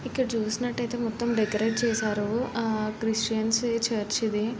ఇక్కడ చూసినట్టుయితే మొత్తం డెకరేట్ చేసారు ఆ క్రిస్టియన్ చర్చి ఇది.